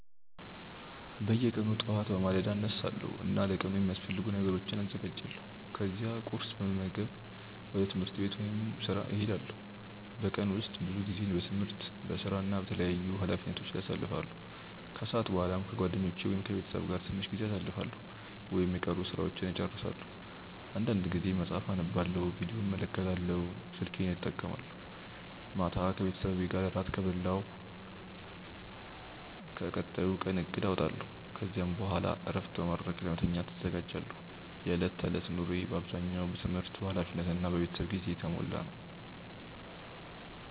በየቀኑ ጠዋት በማለዳ እነሳለሁ እና ለቀኑ የሚያስፈልጉ ነገሮችን አዘጋጃለሁ። ከዚያ ቁርስ በመመገብ ወደ ትምህርት ወይም ወደ ሥራ እሄዳለሁ። በቀን ውስጥ ብዙ ጊዜዬን በትምህርት፣ በሥራ እና በተለያዩ ኃላፊነቶች ላይ አሳልፋለሁ። ከሰዓት በኋላ ከጓደኞቼ ወይም ከቤተሰቤ ጋር ትንሽ ጊዜ አሳልፋለሁ ወይም የቀሩ ሥራዎችን እጨርሳለሁ። አንዳንድ ጊዜ መጽሐፍ አነባለሁ፣ ቪዲዮ እመለከታለሁ ወይም ስልኬን እጠቀማለሁ። ማታ ከቤተሰቤ ጋር እራት እበላለሁ እና ለቀጣዩ ቀን እቅድ አወጣለሁ። ከዚያ በኋላ እረፍት በማድረግ ለመተኛት እዘጋጃለሁ። የዕለት ተዕለት ኑሮዬ በአብዛኛው በትምህርት፣ በኃላፊነት እና በቤተሰብ ጊዜ የተሞላ ነው።